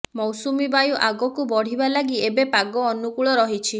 ମୌସୁମୀ ବାୟୁ ଆଗକୁ ବଢିବା ଲାଗି ଏବେ ପାଗ ଅନୁକୂଳ ରହିଛି